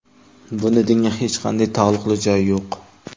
Buni dinga hech qanday taalluqli joyi yo‘q.